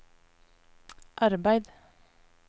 arbeid